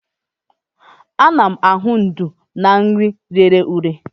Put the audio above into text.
A na-ahụ ndú na nri rere ure.